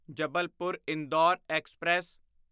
Jabalpur Indore express